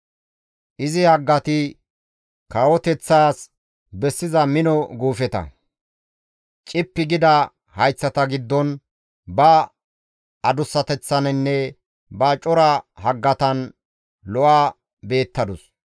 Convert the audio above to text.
Izi haggati kawoteththas bessiza mino guufeta. Cippi gida hayththata giddon, ba adussateththaninne ba cora haggatan lo7a beettadus.